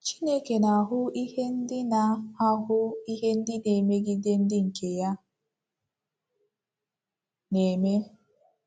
Chineke na-ahụ ihe ndị na-ahụ ihe ndị na-emegide ndị nke ya na-eme.